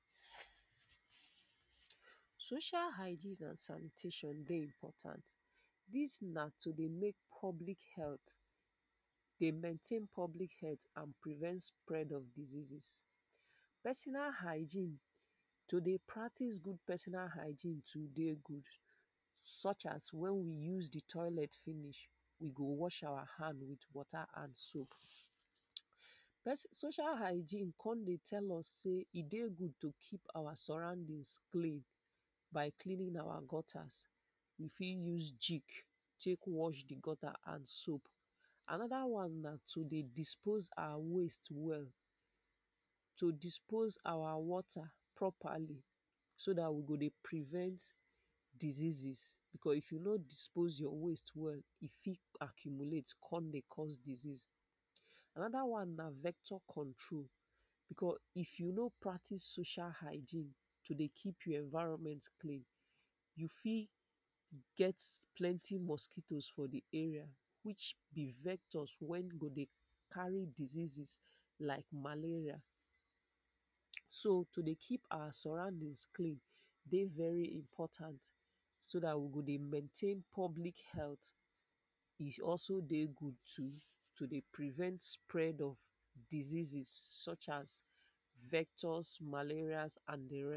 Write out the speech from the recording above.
Social hygiene and sanitation dey important dis na to dey make public health dey main ten an public health and prevent spread of diseases, Personal hygiene to dey practice good personal hygiene too dey good sure as wen we use di toilet finish we go watch our hand with water and soap. Social hygiene kon dey tell us sey e dey good to keep our surroundings clean by cleaning our gutters, you fit use gik take watch di gutter and soap, anoda one na to dey dispose our waste well to dispose our water properly so day we go dey prevent diseases becos if you no dispose your waste well, e fit accumulate kon dey cause disease. Anoda one na vector control becos if you no practice social hygiene to dey keep your environment clean, you fit get plenty mosquitoes for di area which di vectors wen go dey carry diseases like malaria. So to dey keep our surroundings clean dey very important so dat we go dey maintain public health e also dey good too to dey prevent spread of diseases sure as vectors, malarial and di rest.